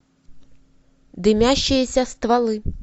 дымящиеся стволы